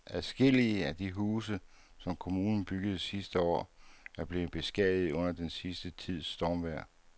Adskillige af de huse, som kommunen byggede sidste år, er blevet beskadiget under den sidste tids stormvejr.